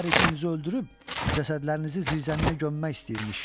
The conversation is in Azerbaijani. Hər ikinizi öldürüb cəsədlərinizi zirzəmiyə gömmək istəyirmiş.